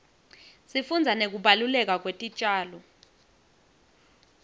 sifundza nekubaluleka kwetitjalo